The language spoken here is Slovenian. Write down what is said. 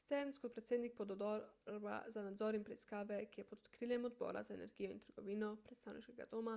stearns kot predsednik pododbora za nadzor in preiskave ki je pod okriljem odbora za energijo in trgovino predstavniškega doma